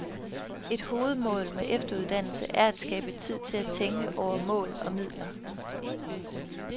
Et hovedmål med efteruddannelsen er at skabe tid til at tænke over mål og midler.